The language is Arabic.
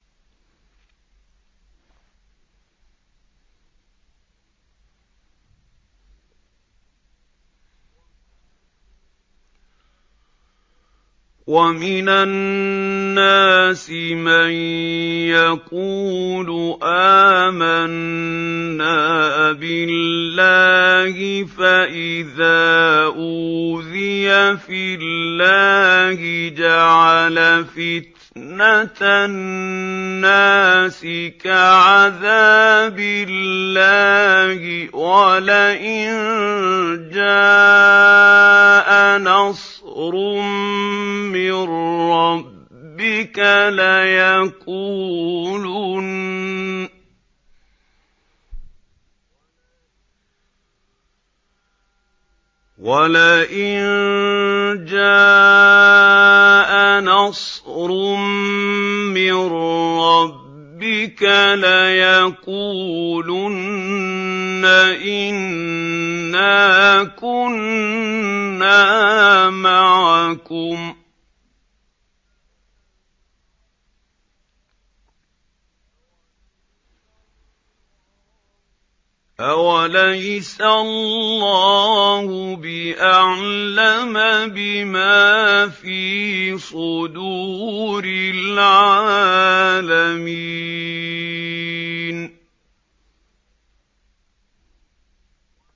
وَمِنَ النَّاسِ مَن يَقُولُ آمَنَّا بِاللَّهِ فَإِذَا أُوذِيَ فِي اللَّهِ جَعَلَ فِتْنَةَ النَّاسِ كَعَذَابِ اللَّهِ وَلَئِن جَاءَ نَصْرٌ مِّن رَّبِّكَ لَيَقُولُنَّ إِنَّا كُنَّا مَعَكُمْ ۚ أَوَلَيْسَ اللَّهُ بِأَعْلَمَ بِمَا فِي صُدُورِ الْعَالَمِينَ